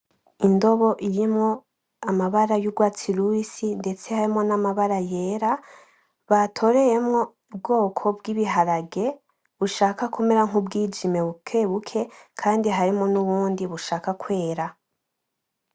Indobo irimwo amabara y'urwatsi rubisi ndetse harimwo na mabara yera batoreyemwo ubwoko bw'ibiharage bushaka kumera nku bwijime bukebuke, kandi harimwo nubundi bushaka kwera.